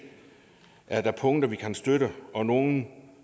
er der punkter vi kan støtte og nogle